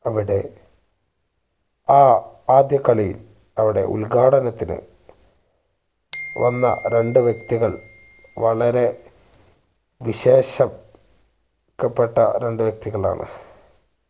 അവിടെ ആ ആദ്യ കളിയിൽ അവിടെ ഉദ്ഘടനത്തിന് വന്ന രണ്ട് വ്യക്തികൾ വളരെ വിശേഷം ക്കപ്പെട്ട രണ്ട് വ്യക്തികളാണ്